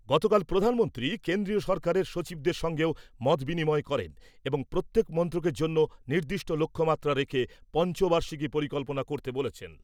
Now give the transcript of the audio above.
গতকাল প্রধানমন্ত্রী কেন্দ্রীয় সরকারের সচিবদের সঙ্গেও মত বিনিময় করেন এবং প্রত্যেক মন্ত্রকের জন্য নির্দিষ্ট লক্ষ্যমাত্রা রেখে পঞ্চ বার্ষিকী পরিকল্পনা করতে বলেছেন ।